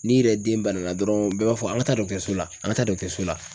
N'i yɛrɛ den banana dɔrɔn bɛɛ b'a fɔ an ka taa so la an ka taa so la.